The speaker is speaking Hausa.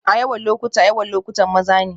A yawan lokuta, yawan lokutan maza ne